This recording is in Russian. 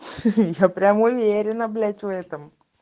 ха-ха я прям уверена блять в этом